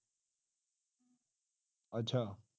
ਅੱਛਾ